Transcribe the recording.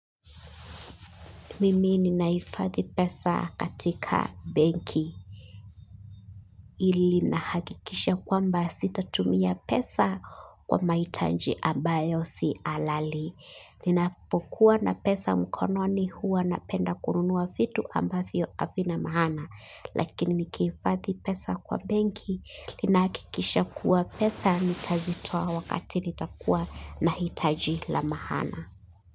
Mimi ninaifathi pesa katika benki ili nahakikisha kwamba sitatumia pesa kwa mahitaji ambayo si alali. Ninapokuwa na pesa mkononi huwa napenda kununua vitu ambavyo havina maana. Lakini nikiifathi pesa kwa benki linaakikisha kuwa pesa nitazitoa wakati nitakuwa nahitaji la maana.